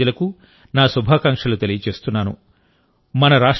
ఈ అన్ని రాష్ట్రాల ప్రజలకు నా శుభాకాంక్షలు తెలియజేస్తున్నాను